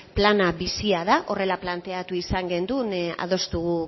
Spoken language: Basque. plana bizia da horrela planteatu izan gendun adostu